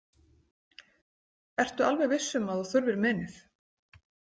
Ertu alveg viss um að þú þurfir menið?